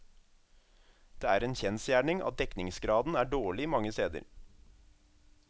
Det er en kjensgjerning at dekningsgraden er dårlig mange steder.